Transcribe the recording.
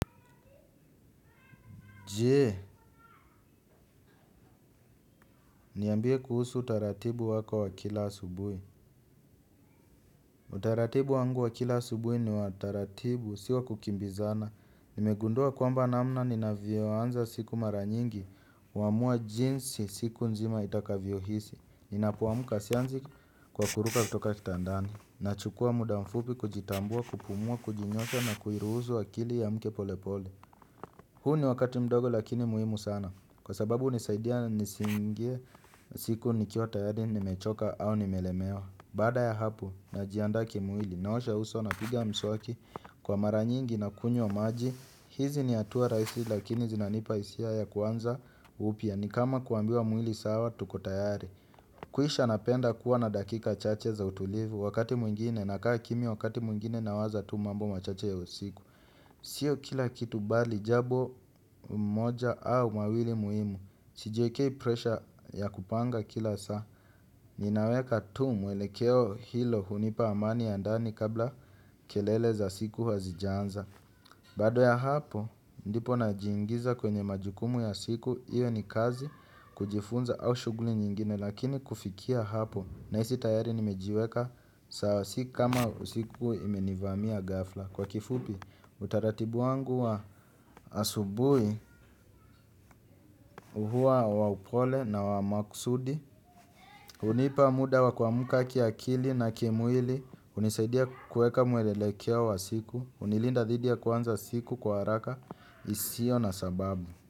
Je, niambie kuhusu utaratibu wako wa kila asubuhi. Utaratibu wangu wa kila asubuhi ni wa taratibu, si wa kukimbizana. Nimegundua kwamba namna ninavyoanza siku mara nyingi, huamua jinsi siku nzima itakavyohisi. Ninapoamka sianzi kwa kuruka kutoka kitandani. Nachukua muda mfupi kujitambua, kupumua, kujinyosha na kuiruhusu akili iamke polepole. Huu ni wakati mdogo lakini muhimu sana. Kwa sababu hunisaidia nisiingie siku nikiwa tayari nimechoka au nimelemewa. Baada ya hapo najiandaa kimwili naosha uso napiga mswaki kwa mara nyingi na kunywa maji. Hizi ni hatua rahisi lakini zinanipa hisia ya kuanza upya ni kama kuambiwa mwili sawa tuko tayari kuisha napenda kuwa na dakika chache za utulivu wakati mwingine nakaa kimya wakati mwingine nawaza tu mambo machache ya usiku. Sio kila kitu bali jambo moja au mawili muhimu sijiekei pressure ya kupanga kila saa. Ninaweka tu mwelekeo hilo hunipa amani ya ndani kabla kelele za siku hazijaanza. Baada ya hapo ndipo najiingiza kwenye majukumu ya siku. Iwe ni kazi kujifunza au shughuli nyingine lakini kufikia hapo nahisi tayari nimejiweka saa si kama usiku imenivamia ghafla. Kwa kifupi, utaratibu wangu wa asubuhi huwa wa upole na wa maksudi hunipa muda wa kuamka kiakili na kimwili hunisaidia kueka mweelekeo wa siku hunilinda dhidi ya kuanza siku kwa haraka isio na sababu.